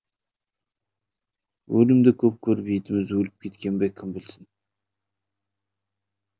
өлімді көп көріп етіміз өліп кеткеннен бе кім білсін